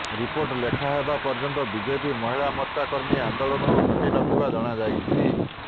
report ଲେଖା ହେବା ପର୍ଯ୍ୟନ୍ତ ବିଜେପି ମହିଳା ମୋର୍ଚ୍ଚା କର୍ମୀ ଆନ୍ଦୋଳନରୁ ହଟି ନ ଥିବା ଜଣାଯାଇଛି